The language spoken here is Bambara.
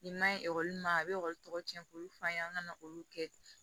Nin man ɲi e ma a bɛ ekɔli tɔgɔ ɲɛ k'olu f'a ye an ka na olu kɛ